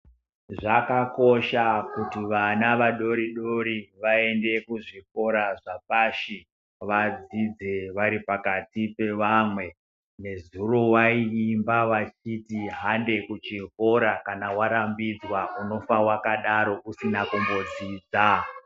Zvakakosha kuti vana vadori dori vaende kuzvikora zvapashi vadzidze vari pakati pevamwe nezuro vayi imba vachiti hande kuchikora kana warambidzwa unofa wakadaro usina kumbodzidza.